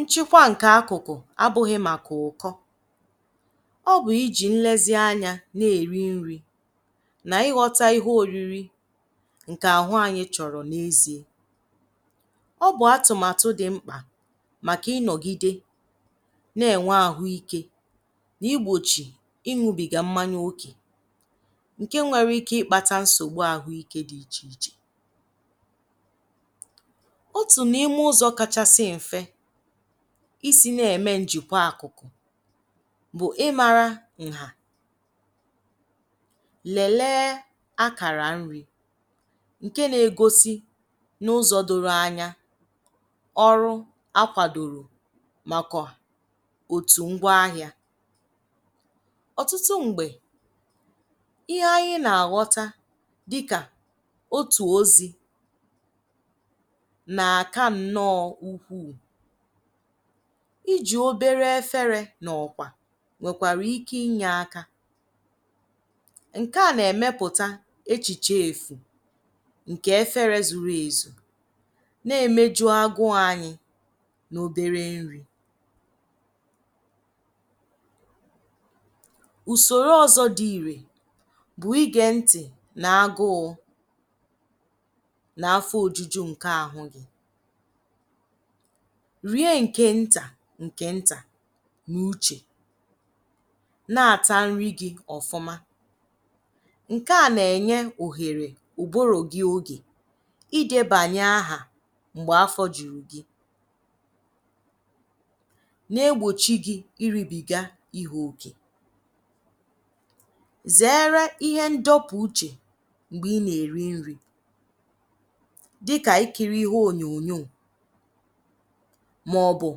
Nchịkwa ǹkè akụ̀kụ̀ abụghị màkà ụ̀kọ́. Ọ bụ íjì nlezianya na-èrí nri na ịghọta ihe oriri ǹkè àhụ́ anyị chọ̀rọ̀ n'ezie. Ọ bụ átụ̀màtụ̀ dị ḿkpà màkà ị́nọ̀gìdè na-ènwé àhụ́ ike na ígbòchì ị́ṅụbị̀gà mmanya ókè nke nwere ike ịkpata nsogbu àhụ́ike dị íchè íchè. Ótù n'ime ụzọ kachasị m̀fé isi na-eme njikwa ákụ̀kụ̀ bụ ịmárá ǹhà, lèléé ákàrà nri ǹkè na-egosi n'ụzọ doro anya, ọrụ ákwàdòrò maka òtù ngwa ahịa. Ọ̀tụ́tụ́ m̀gbè ihe anyị na-aghọta dịka ótù ozi nà-àká nnọọ ukwuu. Íjì obere éférē na ọ̀kwà nwèkwàrà ike inye aka. Ǹkè a na-emepụta echiche èfù ǹkè efere zuru èzù na-emeju agụụ anyị n'obere nri. Usoro ọzọ dị ìrè bụ ige ńtị̀ n'agụụ na afọ ojuju nke àhụ́ gị, rie ǹkè ńtà ǹkè ńtà n'uche na-àtá nri gị ọ̀fụ́má. Nke a na-enye òhèrè ụ̀bụ́rụ́ gị oge idebànyè áhà m̀gbè afọ jùrù gị na-egbochi gị iribìgá ihe ókè. Zèéré ihe ńdọ́pụ̀ uche m̀gbè ị na-eri nri dịka ikiri ihe ònyònyóò ma ọ bụ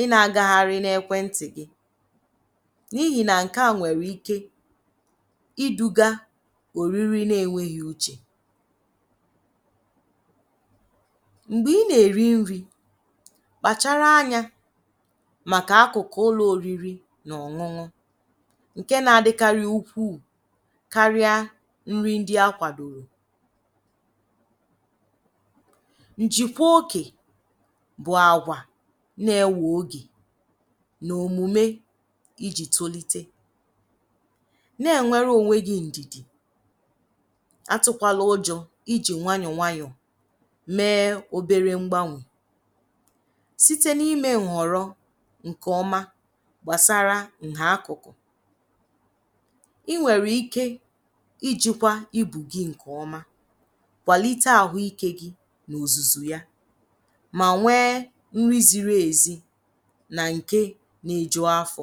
ị na-agagharị n'ekwenti gị n'íhì na ǹkè a nwèrè ike iduga oriri na-enweghi uche. M̀gbè ị na-eri nri kpàchárá anya màkà ákụ̀kụ̀ ụlọ oriri na ọ̀ṅụ́ṅụ́ nke na-adịkari úkwúù karịa nri ndị ákwàdòrò. Ǹjìkwá ókè bụ àgwà na-ewe ógè na omume íjì tolite. Na-enwere onwe gị ǹdìdì, atụkwala ụjọ íjì nwayọ nwayọ mee obere ḿgbánwè site n'ime ǹhọ̀rọ́ ǹkè ọma gbasara ǹhà ákụ̀kụ̀. I nwèrè ike ijikwa íbù gị nke ọma kwalite àhụ́ike gị n'ozuzu ya ma nwee nri ziri èzí ná ǹké na-eju afọ.